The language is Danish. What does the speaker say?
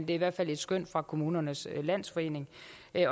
i hvert fald et skøn fra kommunernes landsforening